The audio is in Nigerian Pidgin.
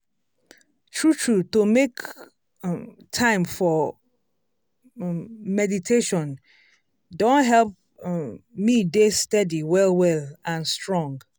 true true to make time for um meditation don help um me dey steady well well and strong.